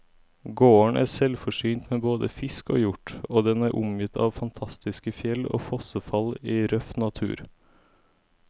Gården er selvforsynt med både fisk og hjort, og den er omgitt av fantastiske fjell og fossefall i røff natur.